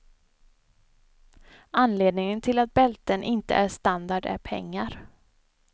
Anledningen till att bälten inte är standard är pengar.